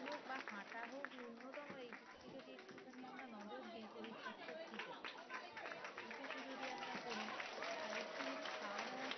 এইটুকু যদি আমরা করি আর একটু যদি খাওয়া দাওয়া